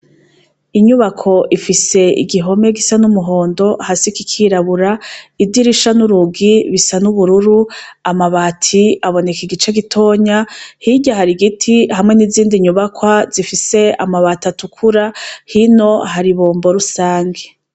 Inyubako ifise igihome gisa n'umuhondo hasi kikirabura idirisha n'urugi bisa n'ubururu amabati aboneka igice gitonya hirya hari igiti hamwe n'izindi nyubakwa zifise amabati atukura hino hari bombo rusange.